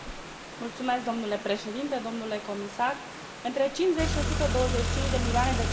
Între 50 și 125 de milioane de cetățeni europeni sunt afectați de sărăcia energetică.